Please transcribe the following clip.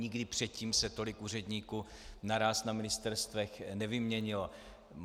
Nikdy předtím se tolik úředníků naráz na ministerstvech nevyměnilo.